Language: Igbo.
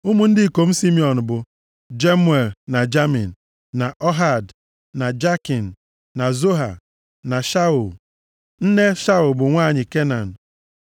Ụmụ ndị ikom Simiọn bụ, Jemuel, na Jamin, na Ohad, na Jakin, na Zoha, na Shaul. Nne Shaul bụ nwanyị Kenan.